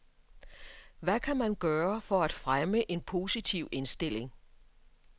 Hvad kan man gøre for at fremme en positiv indstilling?